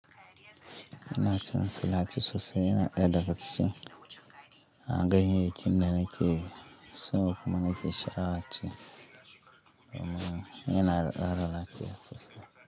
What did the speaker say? Ina cin salaci sosa yana ɗaya daga cikin. An ganyayyakin da nake so kuma nake sha'awar ci. Domin yana da ƙara lafiya sosai.